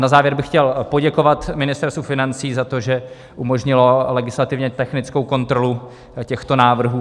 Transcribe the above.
Na závěr bych chtěl poděkovat Ministerstvu financí za to, že umožnilo legislativně technickou kontrolu těchto návrhů.